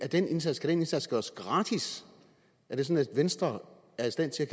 den indsats indsats gøres gratis er det sådan at venstre er i stand til